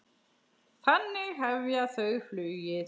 Þannig hefja þau flugið.